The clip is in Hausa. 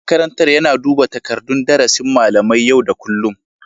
Shugaban makarantar yana duba takardun darasin malamai yau da kullum